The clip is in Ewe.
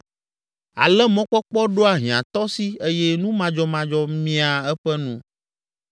Ale mɔkpɔkpɔ ɖoa hiãtɔ si eye nu madzɔmadzɔ miaa eƒe nu.